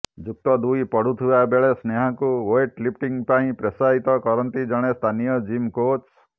ଯୁକ୍ତ ଦୁଇ ପଢ଼ୁଥିବା ବେଳେ ସ୍ନେହାଙ୍କୁ ୱେଟ୍ ଲିଫ୍ଟିଂ ପାଇଁ ପ୍ରୋତ୍ସାହିତ କରନ୍ତି ଜଣେ ସ୍ଥାନୀୟ ଜିମ୍ କୋଚ୍